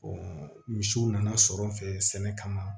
misiw nana sɔrɔ n fɛ sɛnɛ kama